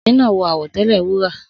Obìnrin náà wọ àwọ̀tẹ́lẹ̀ wúrà.